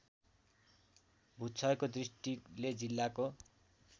भूक्षयको दृष्टिले जिल्लाको